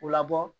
U labɔ